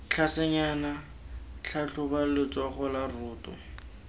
tlhasenyana tlhatlhoba letsogo la roto